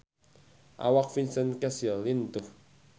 Awak Vincent Cassel lintuh